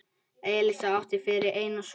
Elísa átti fyrir einn son.